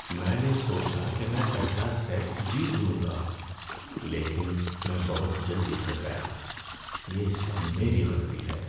میں نے سوچا کہ میں پہلا سیٹ جیت لوں گا، لیکن میں بہت جلدی تھک گیا۔ یہ سب میری غلطی ہے۔